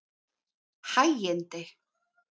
Hægindi